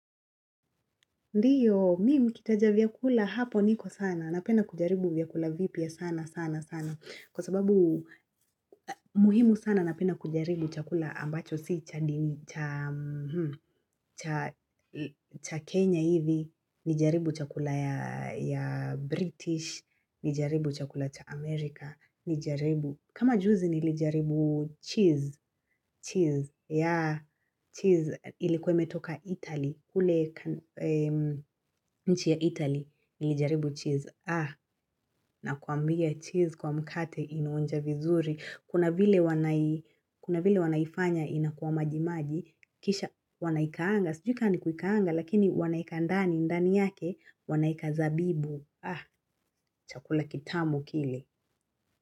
Ndio, mimi mkitaja vyakula hapo niko sana. Napenna kujaribu vyakula vipya sana sana sana. Kwa sababu muhimu sana napenda kujaribu chakula ambacho si cha Kenya hivi. Nijaribu chakula ya British. Nijaribu chakula cha America. Nijaribu. Kama juzi nilijaribu cheese. Cheese. Yeah. Cheese ilikuwe imetoka Italy. Kule nchi ya italy nilijaribu cheese. Ah, nakwambia cheese kwa mkate inaonja vizuri. Kuna vile wanaifanya inakuwa majimaji, kisha wanaikaanga. Sijui ka ni kuikaanga, lakini wanaieka andani ndani yake, wanaeka zabibu. Ah, chakula kitamu kile.